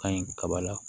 Ka ɲi kaba la